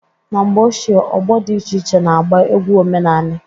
Na mgbe ochie, ọgbọ dị iche iche na-agba egwu omenani.